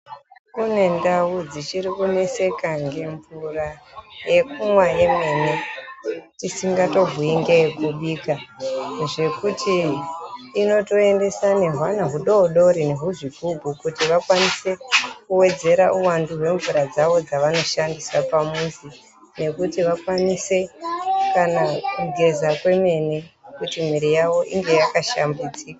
Kune ndau dzichiri kuneseka nge mvura yekumwa yemene tisingato bhuyi ngeye kubika, zvekuti inotoendesa nehwana hudodori nehuzvigubhu kuti vakwanise kuwedzera uwandu hwemvura dzavo dzavawanoshandisa pamuzi yekuti vakwanise kana kugeza kwemene kuti miri yavo inge yakashambidzika